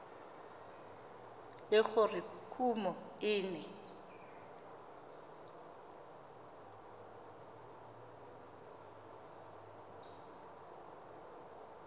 le gore kumo e ne